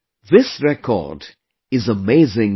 This record is amazing in itself